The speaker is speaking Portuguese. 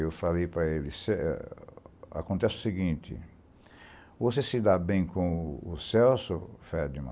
Eu falei para ele, acontece o seguinte, você se dá bem com o Celso, Ferdinand?